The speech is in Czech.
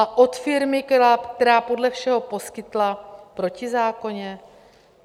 A od firmy, která podle všeho poskytla protizákonně?